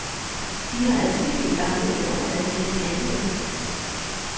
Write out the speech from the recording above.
De har adskillige gange i år været til at tale med.